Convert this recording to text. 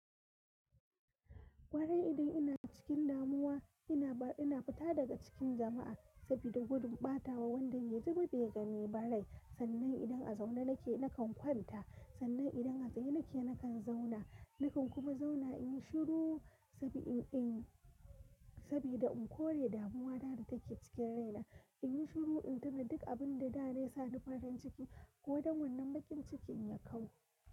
Kwarai idan ina cikin damuwa ina fita daga cikin jamma'a sabida gudun batawa wanda bai ji bai gani ba rai. Sannan idan a zaune nake nakan kwanta, sannan idan a tsaye nake nakan zauna, nakan kuma zauna in yi shiru sabbin in, sabida in kore damuwa ta take cikin raina. In yi shiru in tina duk abin da da na yi sani farin ciki kodan wanan bakin cikin ya kau.